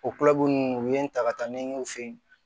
O ninnu u ye n ta ka taa n ɲɛ u fɛ yen